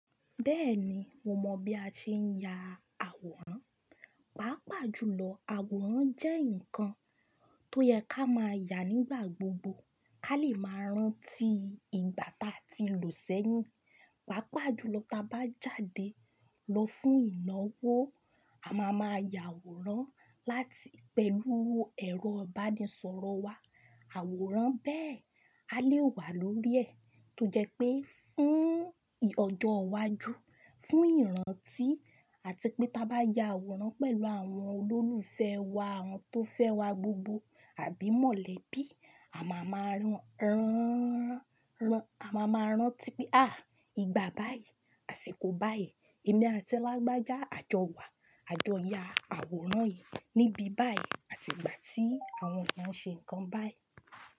Bẹ́ẹ̀ni, mo mọ̀ bí a ṣe ń ya àwòrán. Pàápàá jùlọ, àwòrán jẹ́ nǹkan tó yẹ ká máa yà nígbà gbogbo ká lè máa rántí ìgbà táa ti lò sẹ́yìn. Pàápàá jùlọ ta bá jáde lọ fún ìnáwó, a má a máa ya àwòrán láti pẹ̀lú ẹ̀rọ ìbánisọ̀rọ̀ wa. Àwòrán bẹ́ẹ̀ a lè wà lórí ẹ̀ tó jẹ́ pé fún ọjọ́ iwájú, fún ìrántí àti pé ta bá ya àwòrán pẹ̀lú àwọn olólùfẹ́ wa, àwọn tó fẹ́ wa gbogbo àbí mọ̀lẹ́bí, a má a máa rántí pé àh! Ìgbà báyìí, àsìkò báyìí, èmi àti ẹlágbájá a jọ wà. A jọ ya àwòrán yìí níbi báyìí àti ìgbà tí àwọn kan ṣe nǹkan báyìí.